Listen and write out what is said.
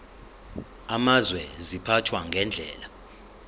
amazwe ziphathwa ngendlela